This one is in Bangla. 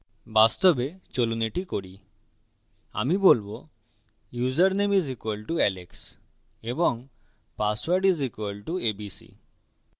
বাস্তবে চলুন এটা করি আমি বলবো ইউসারনেম is equal to সমান alex এবং password is equal to abc